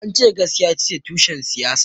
Ance askiya itace tushen siyasa